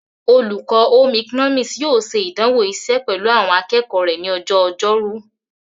Olùkọ́ Home economics yóò ṣe ìdánwò iṣẹ́ pẹ̀lú àwọn akẹ́kọ̀ọ́ rẹ ní ọjọ́ ọjọ́rú.